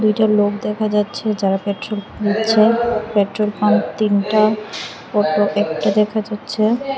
দুইটা লোক দেখা যাচ্ছে যারা পেট্রোল নিচ্ছে পেট্রোল পাম্প তিনটা একতা অটো দেখা যাচ্ছে।